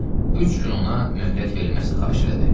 Üç gün ona möhlət verilməsini xahiş elədi.